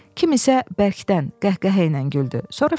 Kim isə bərkdən qəhqəhə ilə güldü, sonra fit verdi.